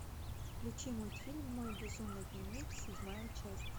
включи мультфильм мой безумный дневник седьмая часть